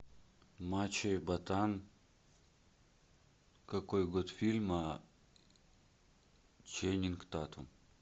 мачо и ботан какой год фильма ченнинг татум